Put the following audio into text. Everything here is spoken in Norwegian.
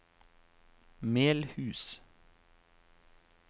Melhus